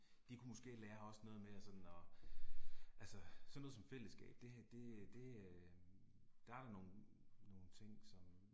De kunne måske lære os noget med at sådan og. Altså, sådan noget som fællesskab det det det øh der er nogle nogle ting som